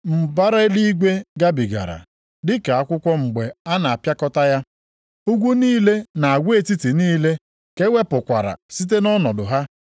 Mbara eluigwe gabigara, dịka akwụkwọ mgbe a na-apịakọta ya. Ugwu niile na agwa etiti niile ka e wepụkwara site nʼọnọdụ ha.